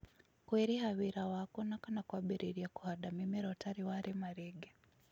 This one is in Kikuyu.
kwĩrǐha wĩra waku ona kana kwambiriria kũhanda mĩmera utari wa rĩma rĩngĩ